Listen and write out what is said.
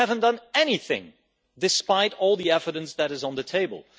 They haven't done anything despite all the evidence that is on the table.